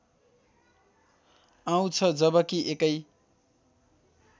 आउँछ जबकि एकै